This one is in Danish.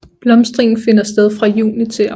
Blomstringen finder sted fra juni til august